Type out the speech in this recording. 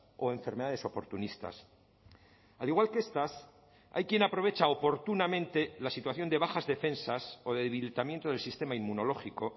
o enfermedades oportunistas al igual que estas hay quien aprovecha oportunamente la situación de bajas defensas o debilitamiento del sistema inmunológico